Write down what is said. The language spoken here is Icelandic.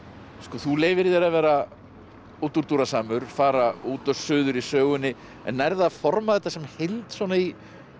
þú leyfir þér að vera fara út og suður í sögunni en nærðu að forma þetta sem heild svona í